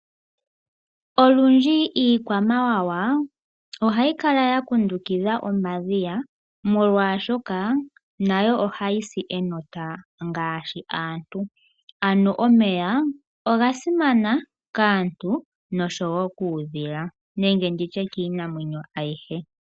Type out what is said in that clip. Olundji iikwamawawa ohayi kala ya kundukidha omadhiya molwashoka nayo ohayi si enota ngaashi aantu ano omeya oga simana kaantu noshowo kuudhila nenge ndi tye kiinamwenyo ayihe.